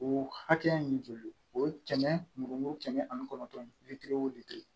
O hakɛ in joli o kɛmɛ mugun wolon kɛmɛ ani kɔnɔntɔn